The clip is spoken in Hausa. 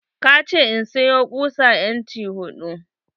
ka ce in sayo kusa inci hudu.